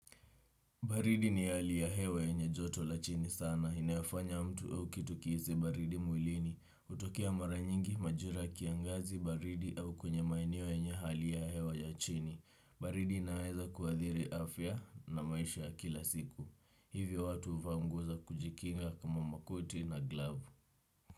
Baridi ni hali ya hewa yenye joto la chini sana. Inayofanya mtu au kitu kihisi baridi mwilini. Hutokea mara nyingi majira ya kiangazi baridi au kwenye maeneo yenye hali ya hewa ya chini. Baridi inaweza kuathiri afya na maisha ya kila siku. Hivyo watu huvaa nguo za kujikinga kama makoti na glavu.